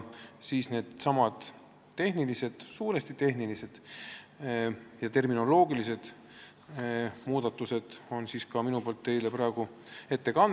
Neidsamu suuresti tehnilisi ja terminoloogilisi muudatusi ma siin praegu teile ka ette kannan.